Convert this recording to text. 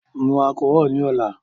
Mu alchol ni ọla